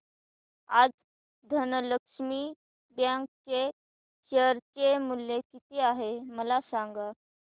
आज धनलक्ष्मी बँक चे शेअर चे मूल्य किती आहे मला सांगा